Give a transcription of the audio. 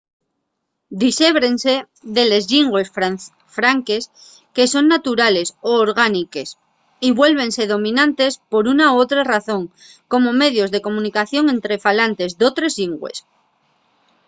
dixébrense de les llingües franques que son naturales o orgániques y vuélvense dominantes por una o otra razón como medios de comunicación ente falantes d’otres llingües